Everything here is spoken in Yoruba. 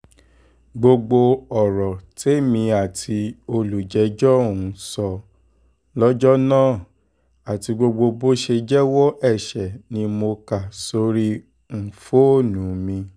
gbogbo ọ̀rọ̀ tèmi àti olùjẹ́jọ́ um sọ lọ́jọ́ náà àti gbogbo bó ṣe jẹ́wọ́ ẹ̀ṣẹ̀ ni mo kà sórí um fóònù mi